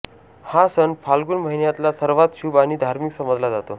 हा सण फाल्गुन महिन्यातला सर्वात शुभ आणि धार्मिक समजला जातो